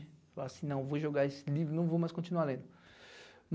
Falei assim, não, vou jogar esse livro, não vou mais continuar lendo.